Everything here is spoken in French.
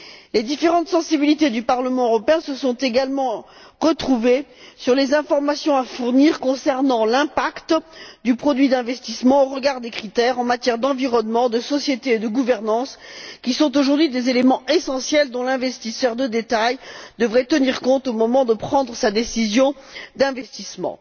Les différentes sensibilités du Parlement européen se sont également retrouvées sur les informations à fournir concernant l'impact du produit d'investissement au regard des critères en matière d'environnement, de société et de gouvernance qui sont, aujourd'hui, des éléments essentiels dont l'investisseur de détail devrait tenir compte au moment de prendre sa décision d'investissement.